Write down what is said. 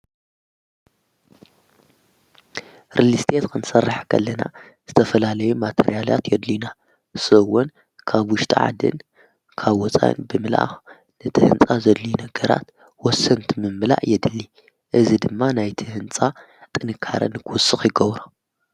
ርልስቲት ከንሠራሕ ገለና ዝተፈላለዩ ማተርያልያት የድልና ሰውን ካብ ውሽተዓድን ካብ ወፃይን ብምላኣኽ ነቲ ሕንጻ ዘድልዩ ነገራት ወሰንቲ ምምላእ የድሊ እዝ ድማ ናይቲ ሕንጻ ጥንካረን ንጐስቕ ይጐብሮ።